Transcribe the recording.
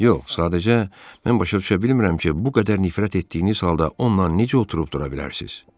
Yox, sadəcə mən başa düşə bilmirəm ki, bu qədər nifrət etdiyiniz halda onunla necə oturub-dura bilərsiz?